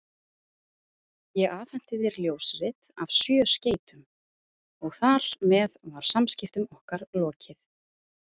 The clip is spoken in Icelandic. Ég afhenti þér ljósrit af sjö skeytum, og þar með var samskiptum okkar lokið.